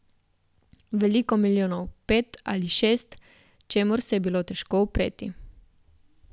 Veliko milijonov, pet ali šest, čemur se je bilo težko upreti.